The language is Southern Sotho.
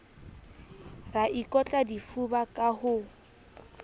ra ikotla difuba ka ho